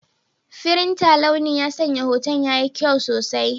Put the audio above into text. Firinta launi ya sanya hoton yayi kyau sosai.